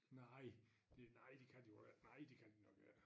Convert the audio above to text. Nej det nej de kan de vel ikke nej det kan de nok ikke